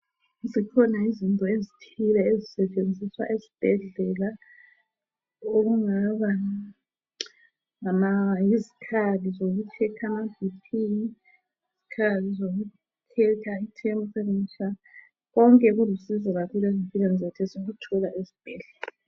Zikhona ezithile ezisetshenziswa esibhedlela okungaba yizikhali zokuchecker amaBp, izikhali zokuchecker temperature. Konke kulusizo kakhulu empilweni zethu esikuthola ezibhedlela.